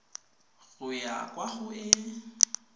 go ya kwa go e